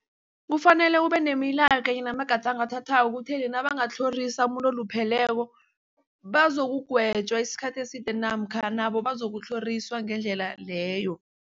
Kufanele kubenemilaga kanye namagadango athathwako ekutheni nabangatlhorisa umuntu olupheleko bazokugwetjwa isikhathi eside namkha nabo bazokutlhoriswa ngendlela leyo.